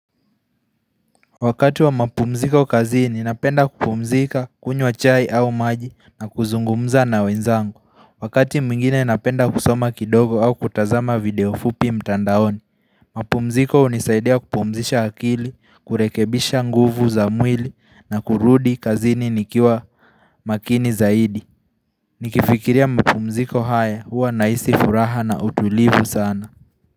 Wakati wa mapumziko kazini napenda kupumzika kunywa chai au maji na kuzungumza na wenzangu Wakati mwingine napenda kusoma kidogo au kutazama video fupi mtandaoni mapumziko hunisaidia kupumzisha akili, kurekebisha nguvu za mwili na kurudi kazini nikiwa makini zaidi Nikifikiria mapumziko haya huwa nahisi furaha na utulivu sana.